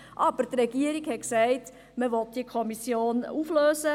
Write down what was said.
Aber die Regierung hat gesagt, sie wolle diese Kommission auflösen;